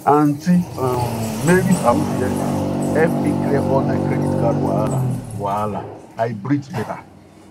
aunty um marys awoof inheritance help me clear all my credit card wahala wahala i breathe better